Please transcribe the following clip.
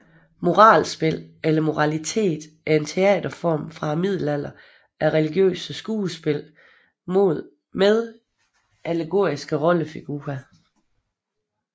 Moralspil eller moralitet er en teaterform fra middelalderen af religiøse skuespil med allegoriske rollefigurer